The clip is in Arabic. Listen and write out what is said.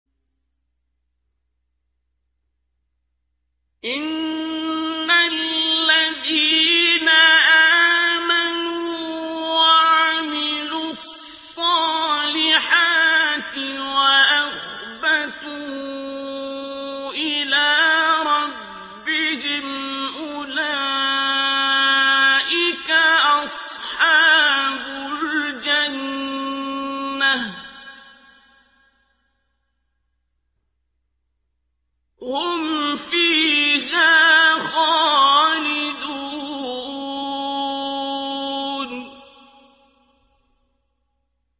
إِنَّ الَّذِينَ آمَنُوا وَعَمِلُوا الصَّالِحَاتِ وَأَخْبَتُوا إِلَىٰ رَبِّهِمْ أُولَٰئِكَ أَصْحَابُ الْجَنَّةِ ۖ هُمْ فِيهَا خَالِدُونَ